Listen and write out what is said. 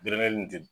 nin